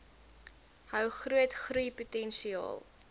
hou groot groeipotensiaal